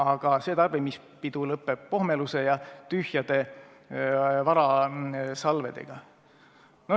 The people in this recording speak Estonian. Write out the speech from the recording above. Aga see tarbimispidu lõppeb pohmeluse ja tühjade varasalvedega.